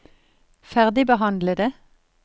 ferdigbehandlede